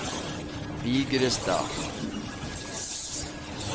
Vigrestad